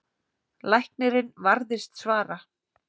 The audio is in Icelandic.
Læknirinn varðist svara.